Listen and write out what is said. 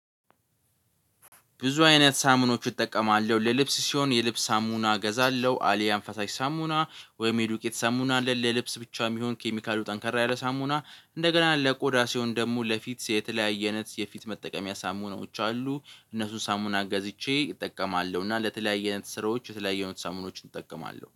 ብዙ አይነት ሳምኖች እጠቀማለሁ። ለልብስ ሲሆን የልብስ ሳሙና እገዛለሁ አሊያም ፈሳሽ ሳሙና ወይም የዱቄ ተሰሙና አለ፣ ለልብስ ብቻ የሚሆን ኬሚካሉ ጠንከር ያለ ሳሙና፣ እንደገና ለቆዳ ሲሆን ደግሞ ለፊት የተለያየ አይነት የፊት መጠቀሚያ ሳሙናዎች አሉ። እነሱን ሳሙና ገዝቼ እጠቀማለሁ። እና ለተለያየነት አይነት ስራዎች የተለያየ አይነት ሳሙናዎችን እጠቀማለሁ።